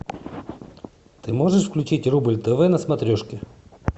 ты можешь включить рубль тв на смотрешке